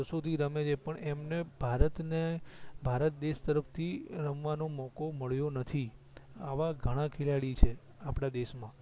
વર્ષો થી રમે છે પણ એમને ભારત ને ભારત દેશ તરફ થી રમવા નો મોકો મળ્યો નથી આવા ઘણા ખેલાડી છે આપડા દેશ માં